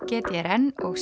g d r n og